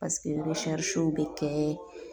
w be kɛɛ